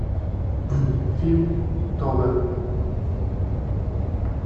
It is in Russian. фильм тога